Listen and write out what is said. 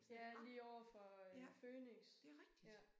Ja lige overfor øh Føniks ja